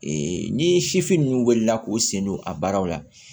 ni sifin ninnu wulila k'u sen don a baaraw la